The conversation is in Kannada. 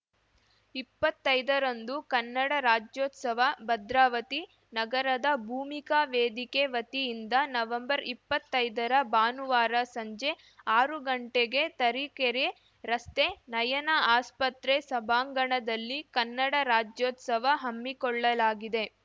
ಇಪ್ಪತ್ತೈದರಂದು ಕನ್ನಡ ರಾಜ್ಯೋತ್ಸವ ಭದ್ರಾವತಿ ನಗರದ ಭೂಮಿಕಾ ವೇದಿಕೆ ವತಿಯಿಂದ ನವೆಂಬರ್ಇಪ್ಪತ್ತೈದರ ಭಾನುವಾರ ಸಂಜೆ ಆರು ಗಂಟೆಗೆ ತರೀಕೆರೆ ರಸ್ತೆ ನಯನ ಆಸ್ಪತ್ರೆ ಸಭಾಂಗಣದಲ್ಲಿ ಕನ್ನಡ ರಾಜ್ಯೋತ್ಸವ ಹಮ್ಮಿಕೊಳ್ಳಲಾಗಿದೆ